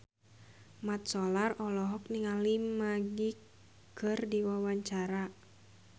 Mat Solar olohok ningali Magic keur diwawancara